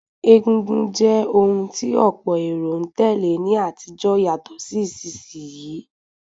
Egúngún jẹ́ ohun tí ọ̀pọ̀ èrò n tèlé ní àtijó yàtọ̀ sí ìsinsìn yii